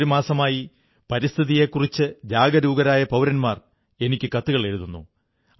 കഴിഞ്ഞ ഒരു മാസമായി പരിസ്ഥിതിയെക്കുറിച്ചു ജാഗരൂകരായ പൌരന്മാർ എനിക്കു കത്തുകളെഴുതുന്നു